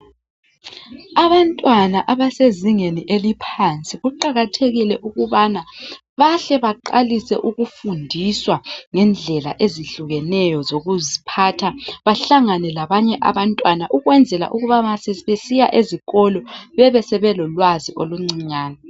Abantwana abasezingeni eliphansi kuqakathekile ukubana bahle baqalise ukufundiswa ngendlela ezehlukeneyo zokuziphatha, bahlangane labanye abantwana ukwenzele ukuthi masebesiya ezikolo bebesebelolwazi oluncinyane.